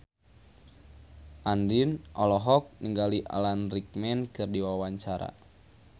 Andien olohok ningali Alan Rickman keur diwawancara